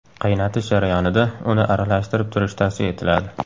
Qaynatish jarayonida uni aralashtirib turish tavsiya etiladi.